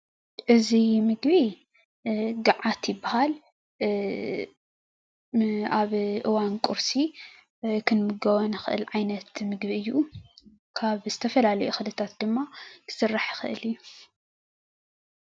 እዙይ ምግቢ ጋዓት ዝበሃል ኣብ እዋን ቁርሲ ክንምገቦ እንኽእል ዓይነት ምግቢ እዩ። ካብ ዝተፈላለዩ እክሊ ድማ ክስራሕ ይኽእል እዩ።